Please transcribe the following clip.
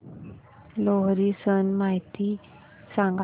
लोहरी सण माहिती सांगा